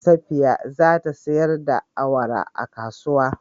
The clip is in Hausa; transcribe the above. Safiya za ta sayar da awara a kasuwa.